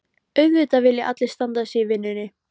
Auðvitað vilja allir standa sig í vinnunni.